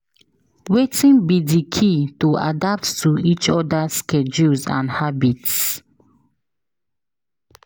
Wetin be di key to adapt to each oda's schedules and habits?